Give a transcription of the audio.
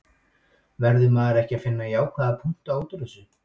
Verður maður ekki að finna jákvæða punkta útúr þessu?